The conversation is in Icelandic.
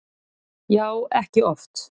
Já, ekki oft